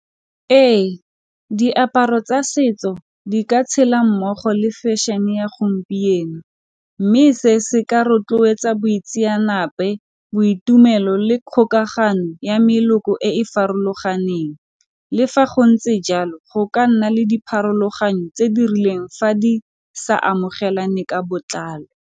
Ee diaparo tsa setso di ka tshela mmogo le fashion-e ya gompieno, mme se se ka rotloetsa boitseanape, boitumelo le kgokagano ya meloko e e farologaneng le fa go ntse jalo, go ka nna le dipharologano tse di rileng fa di sa amogelane ka botlalo.